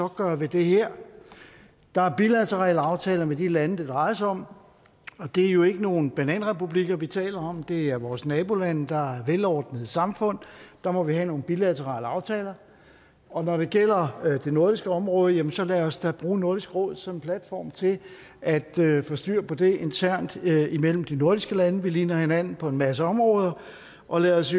gøre ved det her der er bilaterale aftaler med de lande det drejer sig om og det er jo ikke nogle bananrepublikker vi taler om men det er vores nabolande der er velordnede samfund og der må vi have nogle bilaterale aftaler og når det gælder det nordiske område jamen så lad os da bruge nordisk råd som platform til at få styr på det internt imellem de nordiske lande vi ligner hinanden på en masse områder og lad os